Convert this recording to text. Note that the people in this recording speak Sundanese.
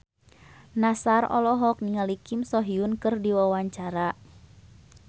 Nassar olohok ningali Kim So Hyun keur diwawancara